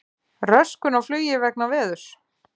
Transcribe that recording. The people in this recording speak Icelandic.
Röskun á flugi vegna veðurs